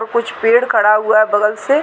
और कुछ पेड़ खड़ा हुआ है बगल से--